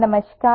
hello